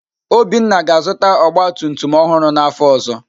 Obinna ga-azụta ọgba tum tum ọhụrụ n’afọ ọzọ.